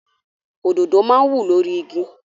Òdòdó máa ń wù lórí igi.